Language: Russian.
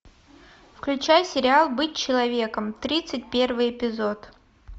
включай сериал быть человеком тридцать первый эпизод